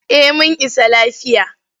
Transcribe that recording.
Eh mun isa lafiya.